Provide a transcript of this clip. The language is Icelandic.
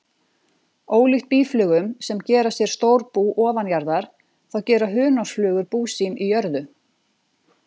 Ólíkt býflugum sem gera sér stór bú ofanjarðar, þá gera hunangsflugur bú sín í jörðu.